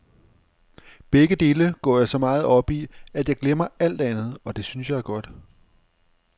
Begge dele går jeg så meget op i, at jeg glemmer alt andet, og det synes jeg er godt.